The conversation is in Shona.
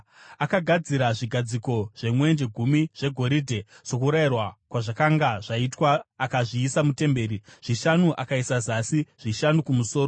Akagadzira zvigadziko zvemwenje gumi zvegoridhe, sokurayirwa kwazvakanga zvaitwa akazviisa mutemberi, zvishanu akaisa zasi zvishanu kumusoro.